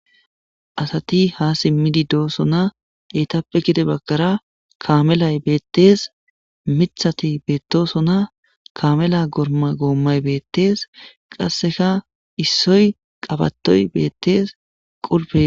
Asati ha simmidi doosona eytappe gide baggara kamelay beettees. mithati beettosona. kamela gooma goommay beettees. qasseka issoy qabatoy beettees. qulpe..